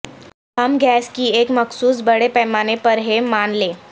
ہم گیس کی ایک مخصوص بڑے پیمانے پر ہے مان لیں